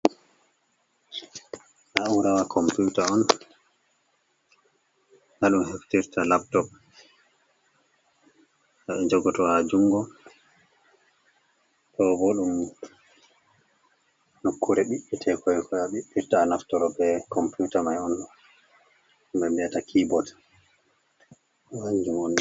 Na'urawa komputa on ha ɗun heftirta laptop je ɗum jogoto ha jungo, ɗo bo ɗum nokkure ɓiɗɗtekoi koi a ɓiɗɗirta a naftoro be computa mai on be viyata keybot kanjum.